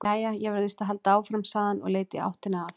Jæja, ég verð víst að halda áfram, sagði hann og leit í áttina að